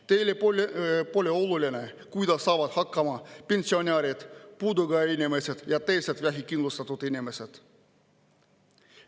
Teile pole oluline, kuidas saavad hakkama pensionärid, puudega inimesed ja teised vähekindlustatud inimesed.